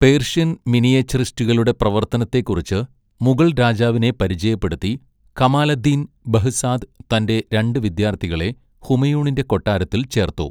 Persian മിനിയേച്ചറിസ്റ്റുകളുടെ പ്രവർത്തനത്തെക്കുറിച്ച് മുഗൾ രാജാവിനെ പരിചയപ്പെടുത്തി, കമാലദ്ദീൻ ബെഹ്സാദ് തന്റെ രണ്ട് വിദ്യാർത്ഥികളെ ഹുമയൂണിന്റെ കൊട്ടാരത്തിൽ ചേർത്തു.